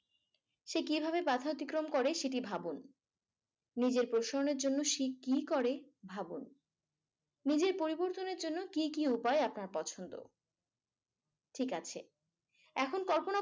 সে কিভাবে বাধা অতিক্রম করে সেটি ভাবুন। নিজের প্রসন্নর জন্য সে কি করে ভাবুন। নিজের পরিবর্তনের জন্য কি কি উপায় আপনার পছন্দ। ঠিক আছে ।এখন কল্পনা